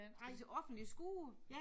Stod de til offentlig skue?